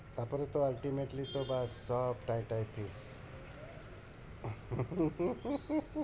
তারপরে তো ultimately তো ব্যাস সব scene